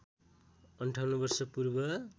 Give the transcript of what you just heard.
५८ वर्ष पूर्व